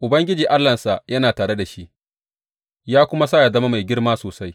Ubangiji Allahnsa yana tare da shi ya kuma sa ya zama mai girma sosai.